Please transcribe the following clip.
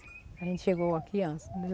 A gente chegou aqui antes.